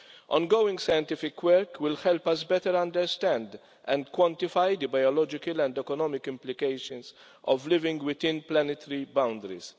Ongoing scientific work will help us better understand and quantify the biological and economic implications of living within planetary boundaries.